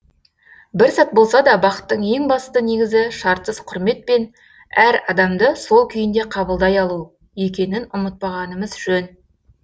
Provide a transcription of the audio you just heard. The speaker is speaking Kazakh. бір сәт болса да бақыттың ең басты негізі шартсыз құрмет пен әр адамды сол күйінде қабылдай алу екенін ұмытпағанымыз жөн